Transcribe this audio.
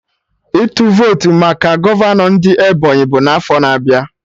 Ịtụ votu maka gọvanọ ndị Ebonyi bụ n'afọ na-abịa